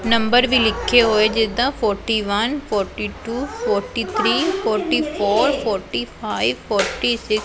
number ਵੀ ਲਿਖੇ ਹੋਏ ਜਿੱਦਾਂ forty one forty two forty three forty four forty five forty six --